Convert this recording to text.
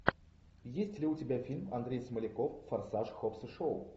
есть ли у тебя фильм андрей смоляков форсаж хоббс и шоу